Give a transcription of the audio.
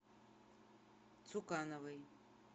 цукановой